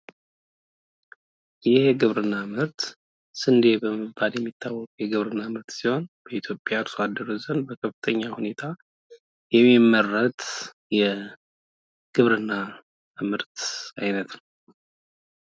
ይሄ የግብርና ምርት ስንዴ በመባል የሚታወቅ የግብርና ምርት ሲሆን በኢትዮጵያ አርሷደሮች ዘንድ በከፍተኛ ሁኔታ የሚመረት የግብርና ምርት አይነት ነው።